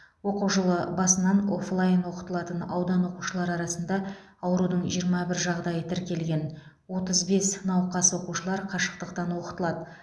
оқу жылы басынан оффлайн оқытылатын аудан оқушылары арасында аурудың жиырма бір жағдайы тіркелген отыз бес науқас оқушылар қашықтықтан оқытылады